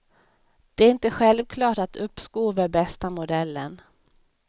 Det är inte självklart att uppskov är bästa modellen.